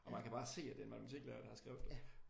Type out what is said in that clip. Og man kan bare se at det er en matematiklærer der har skrevet dem